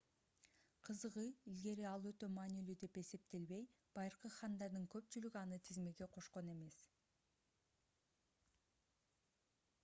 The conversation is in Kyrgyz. кызыгы илгери ал өтө маанилүү деп эсептелбей байыркы хандардын көпчүлүгү аны тизмеге кошкон эмес